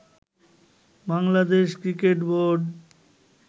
Bangladesh cricket board